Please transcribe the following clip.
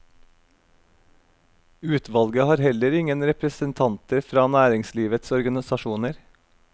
Utvalget har heller ingen representanter fra næringslivets organisasjoner.